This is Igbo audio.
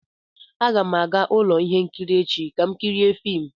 Aga m aga ụlọ ihe nkiri echi ka m kirie fim